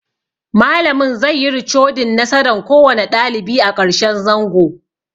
Malamin zai yi ricodin nasaran kowane ɗalibi a ƙarshen zango